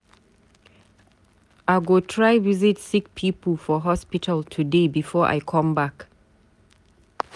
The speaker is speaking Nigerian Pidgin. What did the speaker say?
I go try visit sick pipu for hospital today before I come back.